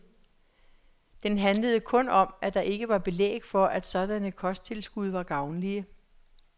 Den handlede kun om, at der ikke var belæg for, at sådanne kosttilskud var gavnlige.